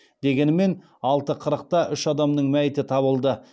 дегенмен алты қырықта үш адамның мәйіті табылды